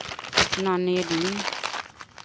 Nanny Edin